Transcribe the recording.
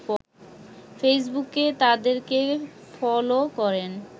ফেইসবুকে তাদেরকে ফলো করেন